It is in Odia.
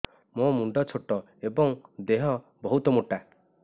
ମୋ ମୁଣ୍ଡ ଛୋଟ ଏଵଂ ଦେହ ବହୁତ ମୋଟା